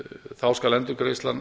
þá skal endurgreiðslan